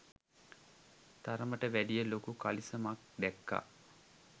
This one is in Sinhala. තරමට වැඩිය ලොකු කලිසමක් දැක්කා